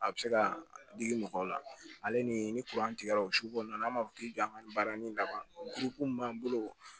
A bɛ se ka digi mɔgɔw la ale ni ni tigɛra o sukolon na an b'a fɔ k'i k'an ka baara nin laban kuru min b'an bolo